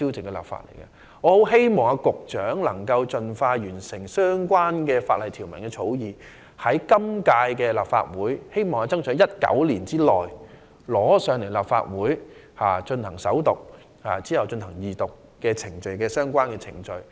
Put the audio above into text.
我很希望局長能夠盡快完成相關法例條文的草擬，爭取在本屆立法會任期內——在2019年內——提交立法會首讀，然後進行相關的二讀程序。